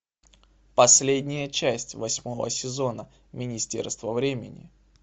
последняя часть восьмого сезона министерство времени